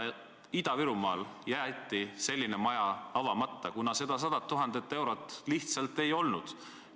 Ida-Virumaal jäeti selline maja avamata, kuna seda 100 000 eurot lihtsalt ei olnud.